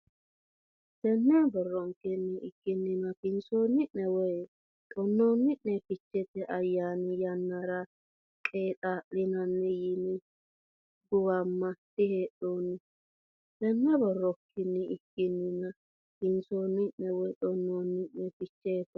Tenne borronkenni ikkinnina kinsoonnie woy xonnoonnie Ficheete ayyaani yannara qeexaa linanni yine giwama diheedhanno Tenne borronkenni ikkinnina kinsoonnie woy xonnoonnie Ficheete.